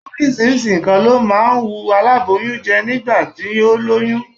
Oríṣiríṣi nǹkan ló máa ń ń wun aláboyún jẹ́ nígbà tí ó lóyún